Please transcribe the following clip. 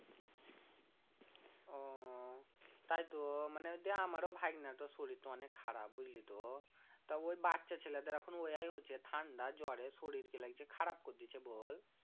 ও তাইতো মানে দিয়ে আমারও ভাগনাটোর শরীরটো অনেক খারাপ বুঝলি তো তা ওই বাচ্চা ছেলেদের এখন ওয়াই হচ্ছে ঠান্ডা জ্বরে শরীরকে লাগছে খারাপ করে দিচ্ছে বল